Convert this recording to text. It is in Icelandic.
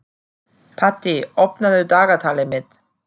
Patti, opnaðu dagatalið mitt.